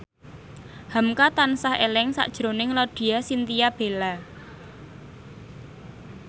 hamka tansah eling sakjroning Laudya Chintya Bella